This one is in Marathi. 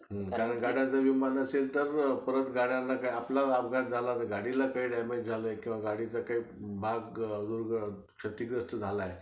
कारण गाड्यांचा विमा नसेल तर परत गाड्या गाडीला काही damage झाले किंवा गाडीचा काही भाग क्षतिग्रस्त झालाय.